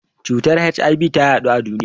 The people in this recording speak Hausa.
Cutar HIV ta yaɗu a duniya.